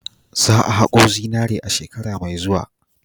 Za a hako zinaren a shekara mai zuwa.